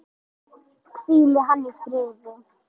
Hvíli hann í friði!